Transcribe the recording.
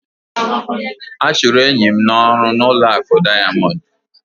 A chụrụ enyi m n'ọrụ n'ụlọ akụ Diamond